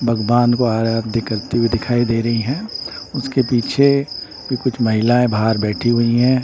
बगबान को आराध्य करती हुई दिखाई दे रही हैं उसके पीछे भी कुछ महिलाएं बाहर बैठी हुई हैं।